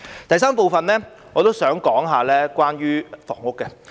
在第三部分，我想談談房屋。